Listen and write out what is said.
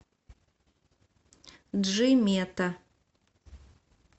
джимета